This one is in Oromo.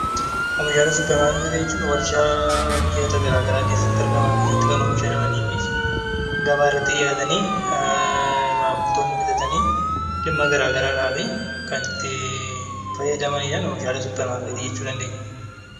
Oomishaalee suupermaarkeetii jechuun warshaa biyyoota garaagaraa keessatti argaman kan oomishamanii fi gabaa irratti dhihaatanii maamiltoonni bitatanii kan itti fayyadaman Meeshaalee suupermaarkeetii jechuu dandeenya.